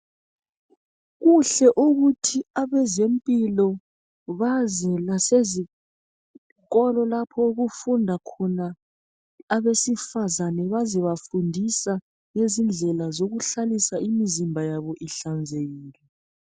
Kuhle ukuthi abezempilo baze lasezikolo lapho okufunda khona abesifazane bazebafundisa ngezindlela zokuhlalisa imizimba yabo ihlanzekile.